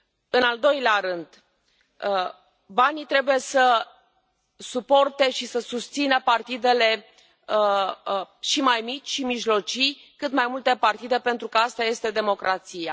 În al doilea rând, banii trebuie să sprijine și să susțină partidele și mai mici, și mijlocii, cât mai multe partide pentru că asta este democrația.